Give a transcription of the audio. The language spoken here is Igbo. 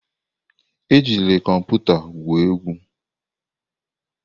Ejila kọmputa egwu egwu!